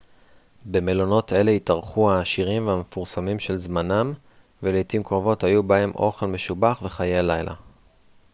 במלונות אלה התארחו העשירים והמפורסמים של זמנם ולעתים קרובות היו בהם אוכל משובח וחיי לילה